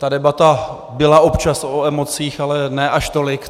Ta debata byla občas o emocích, ale ne až tolik.